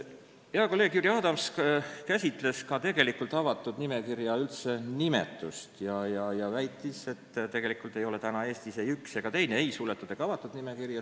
Hea kolleeg Jüri Adams käsitles avatud nimekirja nimetust ja väitis, et tegelikult ei ole Eestis praegu ei üks ega teine: nimekirjad pole ei suletud ega avatud.